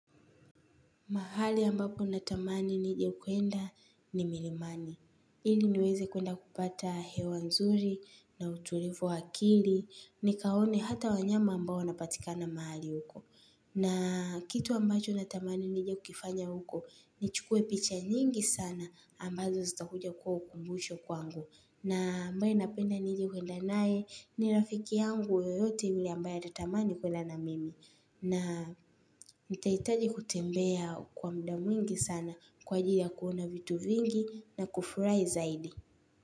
Mahali ambako na tamani ninje kwenda ni milimani. Ili niweze kwenda kupata hewa nzuri na utulivu wakili. Ni kaone hata wanyama ambao napatika na mahali huko. Na kitu ambacho na tamani ninjea kukifanya huko ni chukue picha nyingi sana ambazo zita huja kwa ukumbusho kwa ngu. Na ambayo napenda ni ile uenda naye ni rafiki ya ngu yoyote yule ambaye ata tamani kwenda na mimi. Na nitaitaji kutembea kwa mda mwingi sana kwa ajili ya kuona vitu vingi na kufurahi zaidi.